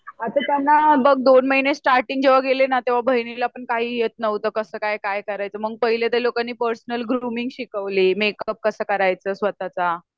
आता त्यांना बघ दोन महिने स्टार्टींग गेली तेव्हा बहिणीला पण काही येत नव्हत कस काय? काय करायच मग पहिले तर त्या लोकांनी पर्सनल ग्रुमिंग शिकवली मेकप कसा करायचा स्वतःचा